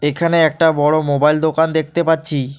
এখানে একটা বড়ো মোবাইল দোকান দেখতে পাচ্ছি।